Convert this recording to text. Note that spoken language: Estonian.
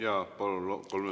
Jaa, palun!